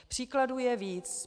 Příkladů je víc.